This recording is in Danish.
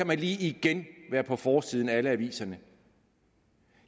man lige igen være på forsiden af alle aviserne